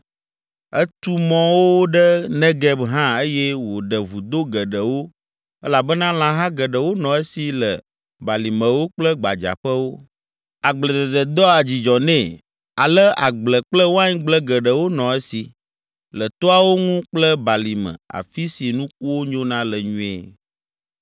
Etu mɔwo ɖe Negeb hã eye wòɖe vudo geɖewo elabena lãha geɖewo nɔ esi le balimewo kple gbadzaƒewo. Agbledede doa dzidzɔ nɛ ale agble kple waingble geɖewo nɔ esi, le toawo ŋu kple balime afi si nukuwo nyona le nyuie.